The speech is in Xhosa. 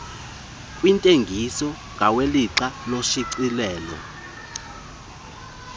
kwitekisi ngawelixa loshicilelo